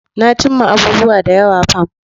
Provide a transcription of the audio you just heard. Na cimma abubuwa da yawa fa.